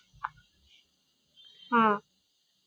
হম